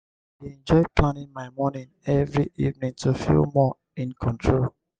i dey enjoy planning my morning every evening to feel more in control.